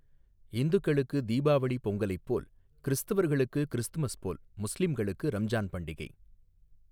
இந்துக்களுக்கு தீபாவளி பொங்கலைப் போல் கிறிஸ்துவர்களுக்கு கிறிஸ்துமஸ் போல் முஸ்லிம்களுக்கு ரம்ஜான் பண்டிகை.